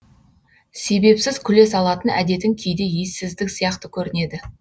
себепсіз күле салатын әдетің кейде ессіздік сияқты көрінеді